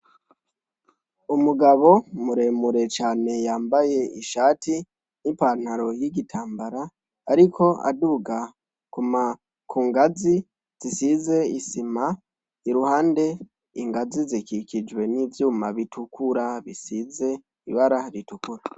Umugabo muremure cane yambaye isati nipantalo yigitambara ariko aduga kungazi zisize isima isuhande ingazi zikikijwe nivyuma bitukura bisize ibara ritukura